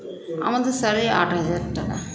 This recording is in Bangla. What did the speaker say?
আমাদের salary আট হাজার টাকা